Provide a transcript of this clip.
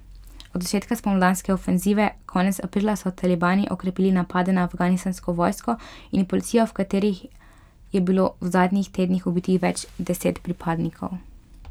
Od začetka spomladanske ofenzive konec aprila so talibani okrepili napade na afganistansko vojsko in policijo, v katerih je bilo v zadnjih tednih ubitih več deset pripadnikov.